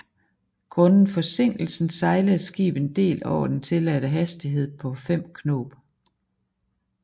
Grundet forsinkelsen sejlede skibet en del over den tilladte hastighed på 5 knob